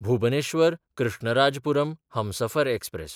भुबनेश्वर–कृष्णराजपुरम Humsafar express